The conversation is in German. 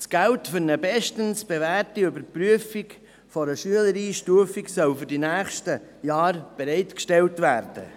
Das Geld für eine bestens bewährte Überprüfung für eine Schülereinstufung soll für die nächsten Jahre bereitgestellt werden.